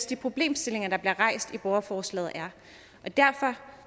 de problemstillinger der bliver rejst i borgerforslaget er og derfor